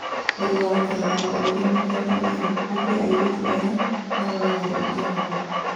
Ũru wa gũikara na maũthĩ mĩthemba ĩrĩ, nĩkĩ airĩtu aya maroragire ithe wao?